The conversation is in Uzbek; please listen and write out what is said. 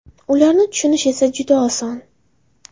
Ularni tushunish esa juda oson.